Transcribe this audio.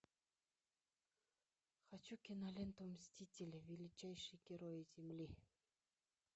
хочу киноленту мстители величайшие герои земли